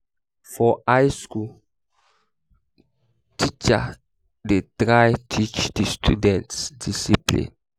for high school teachers de try teach di students discipline